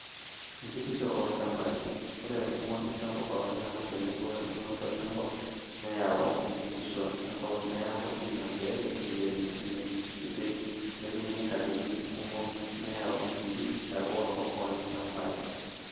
Enkitisho oolchambai:Ore enkumoki sapuk ooltungana tenebo wendung'oto enkop nayawua enkitisho enkop neiko ina pee eiremi ine kiti netumi katitin kumok nayau sii earro oo ilchambai.